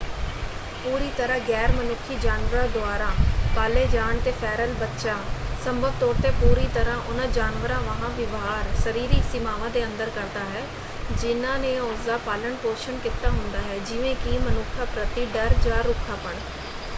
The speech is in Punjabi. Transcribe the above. ਪੂਰੀ ਤਰ੍ਹਾਂ ਗੈਰ-ਮਨੁੱਖੀ ਜਾਨਵਰਾਂ ਦੁਆਰਾ ਪਾਲੇ ਜਾਣ ‘ਤੇ ਫੈਰਲ ਬੱਚਾ ਸੰਭਵ ਤੌਰ ‘ਤੇ ਪੂਰੀ ਤਰ੍ਹਾ ਉਹਨਾਂ ਜਾਨਵਰਾਂ ਵਾਂਹ ਵਿਵਹਾਰ ਸਰੀਰਕ ਸੀਮਾਵਾਂ ਦੇ ਅੰਦਰ ਕਰਦਾ ਹੈ ਜਿਹਨਾਂ ਨੇ ਉਸਦਾ ਪਾਲਣ-ਪੋਸ਼ਣ ਕੀਤਾ ਹੁੰਦਾ ਹੈ ਜਿਵੇਂ ਕਿ ਮਨੁੱਖਾਂ ਪ੍ਰਤੀ ਡਰ ਜਾਂ ਰੁੱਖਾਪਣ।